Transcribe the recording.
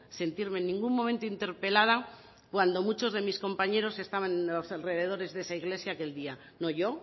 sentirme en ningún momento interpelada cuando muchos de mis compañeros estaban en los alrededores de esa iglesia aquel día no yo